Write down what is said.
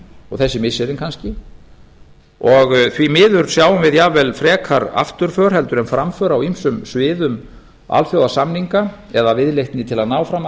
og þessi missirin kannski og því miður sjáum við jafnvel frekar afturför en framför á ýmsum sviðum alþjóðasamninga eða viðleitni til að ná fram